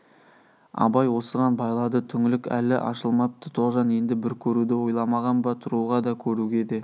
абай осыған байлады түңлік әлі ашылмапты тоғжан енді бір көруді ойламаған ба тұруға да көруге де